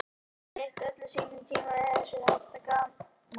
Maður hefur eytt öllum sínum tíma í þessu og haft gaman að.